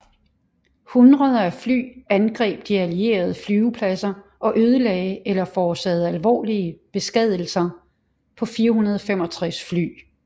Hundreder af fly angreb de allierede flyvepladser og ødelagde eller forårsagede alvorlige beskadigelser på 465 fly